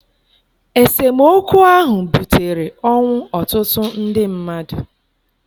Esemokwu ahụ butere ọnwụ ọtụtụ ndị mmadụ.